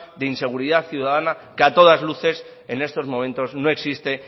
de inseguridad ciudadana que a todas luces en estos momentos no existe